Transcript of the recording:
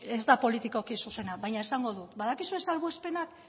ez da politikoki zuzena baina esango dut badakizue salbuespenak